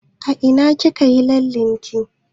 A ina kika yi lallen ki?